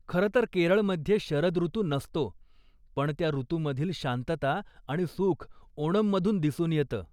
खरं तर केरळमध्ये शरद ऋतू नसतो, पण त्या ऋतूमधील शांतता आणि सुख ओनममधून दिसून येतं.